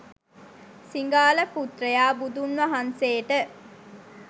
සිඟාල පුත්‍රයා බුදුන් වහන්සේට